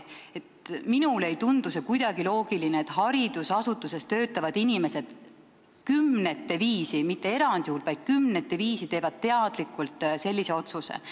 Minule ei tundu kuidagi loogiline, et haridusasutuses töötavad inimesed, kes kümnete viisi – need ei ole mitte erandjuhud, vaid neid inimesi on kümnete viisi – teevad teadlikult sellise otsuse.